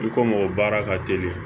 I ko mɔgɔ baara ka teli